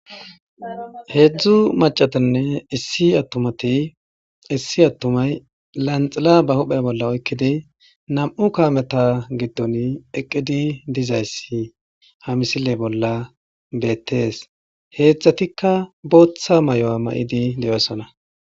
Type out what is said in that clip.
heedzdzu macatanne issi attumati issi attumay lanxila ba huphe bolla oykkidi nam7u kaameta giddon eqqidi dizayssi ha misile bolla beettees heedzdzatikka booththa may7oa ma7idi de7osana